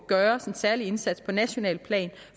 gøres en særlig indsats på nationalt plan